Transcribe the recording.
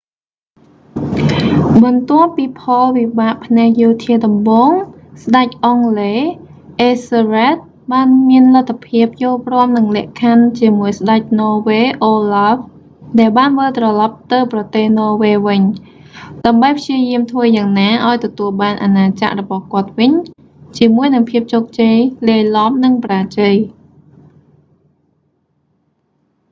បន្ទាប់ពីផលវិបាកផ្នែកយោធាដំបូង ស្តេចអង់គ្លេស អេសសឹលរែដ ethelred បានមានលទ្ធភាពយល់ព្រមនឹងលក្ខខ័ណ្ឌជាមួយស្តេច ន័រវេស៍ អូឡាហ្វ olaf ដែលបានវិលត្រឡប់ទៅប្រទេសន័រវែសវិញ ដើម្បីព្យាយាមធ្វើយ៉ាងណាឱ្យទទួលបានអាណាចក្ររបស់គាត់វិញជាមួយនឹងភាពជោគជ័យលាយឡំ និងបរាជ័យ